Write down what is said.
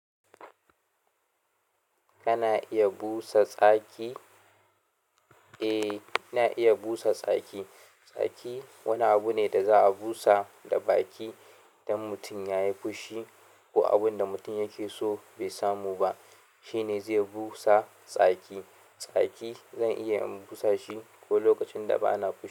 Kana iya busa tsaki? Eh, ina iya busa tsaki. Tsaki wani abu ne da za a busa da baki idan mutum ya yi fushi ko abun da mutum yake so bai samu ba, shi ne zai busa tsaki. Tsaki zan iya in busa shi ko lokacin da bana fushi.